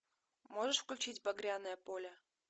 можешь включить багряное поле